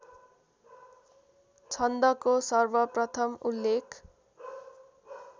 छन्दको सर्वप्रथम उल्लेख